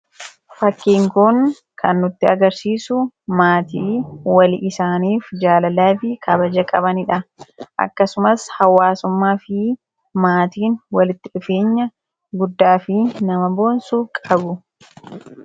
Fakkiin kun kan nutti agarsiisu maatii walii isaaniif jaalalaa fi kabaja qabanii dha. Akkasumas, hawaasummaa fi maatiin walitti dhufeenya guddaa fi nama boonsu qabu.